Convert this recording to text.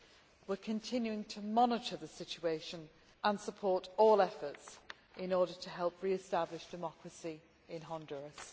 We are continuing to monitor the situation, and support all efforts in order to help re establish democracy in Honduras.